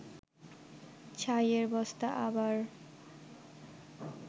ছাইয়ের বস্তা আবার